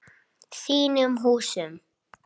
Þínum húsum?